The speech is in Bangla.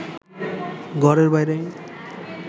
ঘরের বাইরে